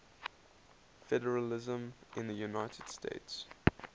federalism in the united states